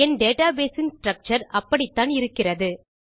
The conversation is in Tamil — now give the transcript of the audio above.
என் டேட்டாபேஸ் இன் ஸ்ட்ரக்சர் அப்படித்தான் இருக்கிறது